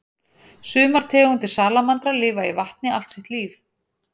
Sumar tegundir salamandra lifa í vatni allt sitt líf.